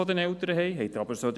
Ich frage Sie: